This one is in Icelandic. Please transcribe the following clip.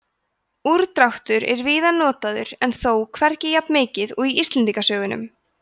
úrdráttur er víða notaður en þó hvergi jafnmikið og í íslendingasögunum